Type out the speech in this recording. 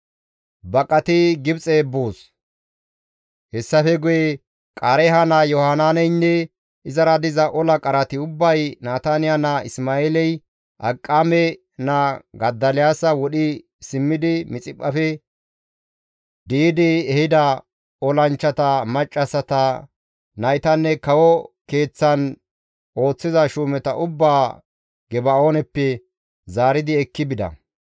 Hessafe guye Qaareeha naa Yohanaaneynne izara diza ola qarati ubbay Nataniya naa Isma7eeley Akiqaame naa Godoliyaasa wodhi simmidi Mixiphphafe di7idi ehida olanchchata, maccassata, naytanne kawo keeththan ooththiza shuumeta ubbaa Geba7ooneppe zaaridi ekki bida.